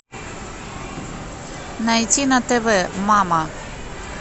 найти на тв мама